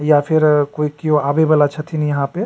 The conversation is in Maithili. या फिर कोई क्यो आवे वाला छथिन यहाँ पे।